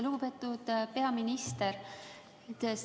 Lugupeetud peaminister!